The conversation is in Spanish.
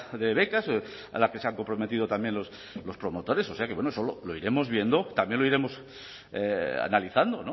de becas a la que se han comprometido también los promotores o sea que eso lo iremos viendo también lo iremos analizando